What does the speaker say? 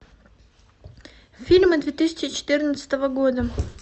фильмы две тысячи четырнадцатого года